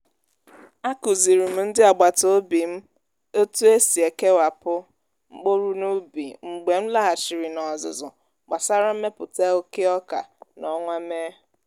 a kụzirim ndị agbata obi m otu esi kewapụ mkpụrụ n’ubi mgbe m laghachiri n'ọzụzụ gbasara mmepụta oke oka n'ọnwa mee.